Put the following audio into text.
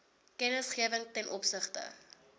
kennisgewing ten opsigte